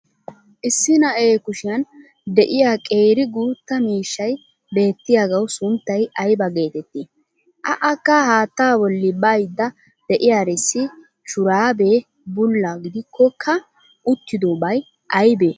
Issi na'ee kushiyan de'iya qeeri guutta miishshay beettiyagawu sunttay aybba geetettii? a Akka haattaa bolli baydda de'iyarissi shuraabee bulla gidikkokka uttidobay aybee?